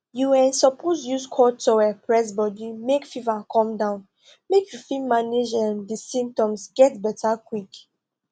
you um suppose use cold towel press body make fever come down make you fit manage um di symptoms get beta quick